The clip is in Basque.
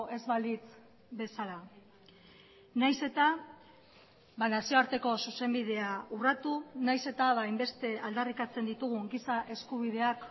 ez balitz bezala nahiz eta nazioarteko zuzenbidea urratu nahiz eta hainbeste aldarrikatzen ditugun giza eskubideak